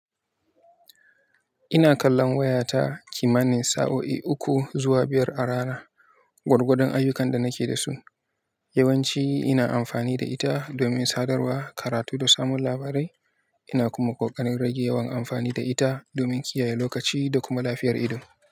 Ina kallon wayata kimanin sa'o'i uku zuwa biyar a rana, gwargwadon ayyukan da nake da su. Yawanci ina amfani da ita domin sadarwa, karatu da samun labarai. Ina kuma koƙarin rage yawan amfani da ita domin kiyaye lokaci da kuma lafiyar ido.